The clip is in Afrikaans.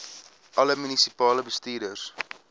alle munisipale bestuurders